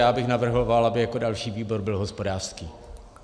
Já bych navrhoval, aby jako další výbor byl hospodářský.